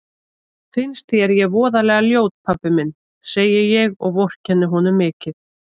Finnst þér ég voðalega ljót pabbi minn, segi ég og vorkenni honum mikið.